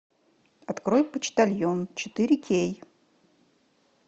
открой почтальон четыре кей